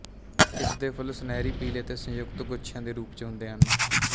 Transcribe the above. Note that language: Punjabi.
ਇਸਦੇ ਫੁੱਲ ਸੁਨਿਹਰੀ ਪੀਲ਼ੇ ਤੇ ਸੰਯੁਕਤ ਗੁੱਛਿਆਂ ਦੇ ਰੂਪ ਚ ਹੁੰਦੇ ਹਨ